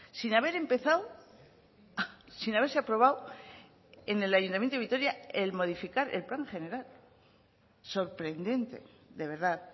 sin haber empezado sin haberse aprobado en el ayuntamiento de vitoria el modificar el plan general sorprendente de verdad